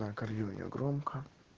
на аккордеоне громко